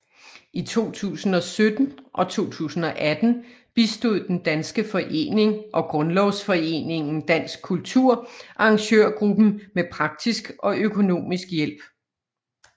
I 2017 og 2018 bistod Den Danske Forening og Grundlovsforeningen Dansk Kultur arrangørgruppen med praktisk og økonomisk hjælp